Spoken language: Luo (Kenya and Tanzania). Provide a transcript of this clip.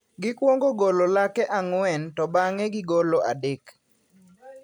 Gikwongo golo lake ang`wen to bang`e gigolo adek.